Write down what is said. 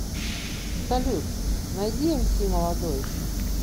салют найди эмси молодой